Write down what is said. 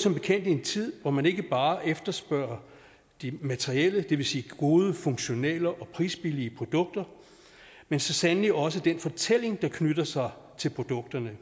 som bekendt i en tid hvor man ikke bare efterspørger de materielle det vil sige gode funktionelle og prisbillige produkter men så sandelig også den fortælling der knytter sig til produkterne